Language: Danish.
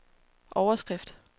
overskrift